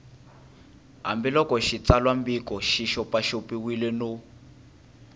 hambiloko xitsalwambiko xi xopaxopiwile no